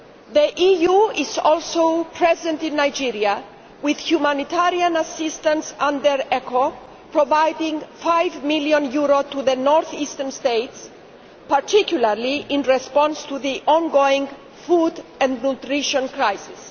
The EU is also present in Nigeria with humanitarian assistance under ECHO providing EUR 5 million to the north eastern states, particularly in response to the on going food and nutrition crisis.